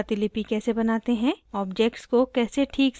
* objects को कैसे ठीक से resize करते हैं